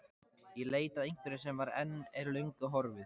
Í leit að einhverju sem var, en er löngu horfið.